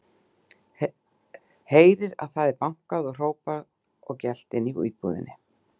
Heyrir að það er bankað og hrópað og gelt inni í íbúðinni.